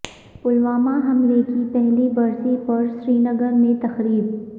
پلوامہ حملے کی پہلی برسی پر سرینگر میں تقریب